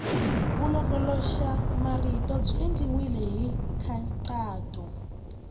vulongoloxamarito byi endliwile hi nkhaqato